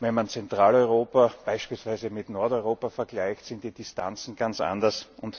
Wenn man Zentraleuropa beispielsweise mit Nordeuropa vergleicht, sind die Distanzen ganz anders.